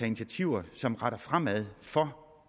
initiativer som peger fremad for